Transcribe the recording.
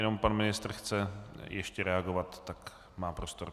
Jenom pan ministr chce ještě reagovat, tak má prostor.